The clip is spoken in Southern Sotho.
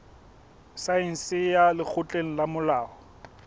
saense ya lekgotleng la molao